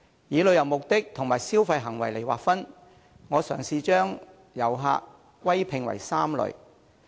以旅遊目的和消費行為來劃分，我嘗試將遊客歸併為3類。